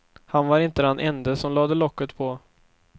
Han var inte den ende som lade locket på.